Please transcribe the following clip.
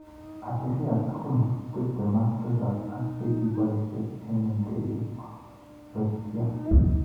Abirria tugul tipten ak tisap ak chikibaisek ik ndegeit kokibato.